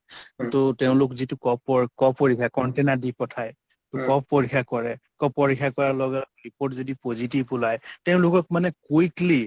টো তেওঁলোক যিটো cough ৰ cough পৰীক্ষা , container দি পঠায় । cough পৰীক্ষা কৰে । cough পৰীক্ষা কৰাৰ লগে লগে report যদি positive ওলাই তেওঁলোকক মানে quickly